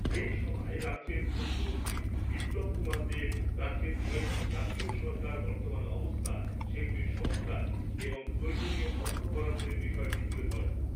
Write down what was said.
এই সভায় রাজ্যের মুখ্যমন্ত্রী বিপ্লব কুমার দেব রাজ্যের কয়েকটি জাতীয় সড়কের বর্তমান অবস্থা, সেগুলির সংস্কার এবং প্রয়োজনীয় অর্থ বরাদ্দের বিষয়টি তুলে ধরেন।